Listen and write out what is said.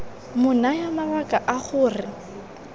mo naya mabaka a gore